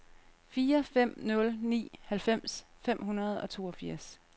fire fem nul ni halvfems fem hundrede og toogfirs